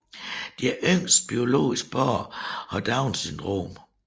Deres yngste biologiske barn har Downs syndrom